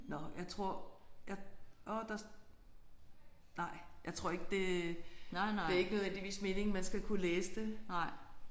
Nåh jeg tror jeg orh der nej jeg tror ikke det det er ikke nødvendigvis meningen man skal kunne læse det